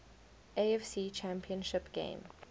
afc championship game